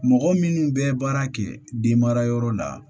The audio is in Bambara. Mɔgɔ minnu bɛ baara kɛ denmara yɔrɔ la